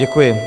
Děkuji.